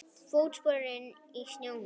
Fótspor í snjónum.